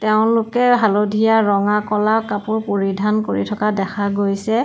তেওঁলোকে হালধীয়া ৰঙা ক'লা কাপোৰ পৰিধান কৰি থকা দেখা দেখা গৈছে।